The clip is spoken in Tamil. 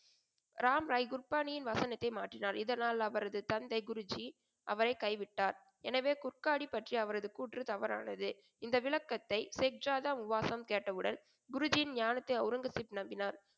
ராமராய் குர்பானியின் வசனத்தை மாற்றினார். இதனால் அவரது தந்தை குருஜி அவரைக் கைவிட்டார். எனவே குர்கானி பற்றிய அவரது கூற்று தவறானது. இந்த விளக்கத்தை ஜெக்ஜாதா உபாசம் கேட்டவுடன் குருஜியின் ஞானத்தை ஒளரங்கசீப் நம்பினார்.